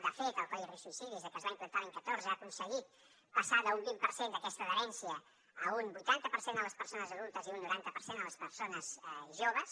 de fet el codi risc suïcidi des que es va implantar l’any dos mil catorze ha aconseguit passar d’un vint per cent d’aquesta adherència a un vuitanta per cent en les persones adultes i un noranta per cent en les persones joves